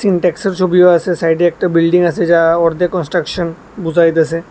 ইন্টেক্সের ছবিও আছে সাইডে একটা বিল্ডিং আছে যা অর্ধেক কনস্ট্রাকশন বোঝাইতাছে।